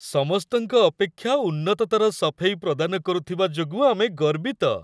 ସମସ୍ତଙ୍କ ଅପେକ୍ଷା ଉନ୍ନତତର ସଫେଇ ପ୍ରଦାନ କରୁଥିବା ଯୋଗୁଁ ଆମେ ଗର୍ବିତ।